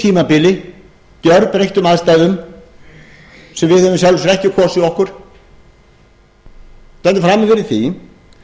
tímabili gjörbreyttum aðstæðum sem við höfum í sjálfu sér ekki kosið okkur stöndum frammi fyrir því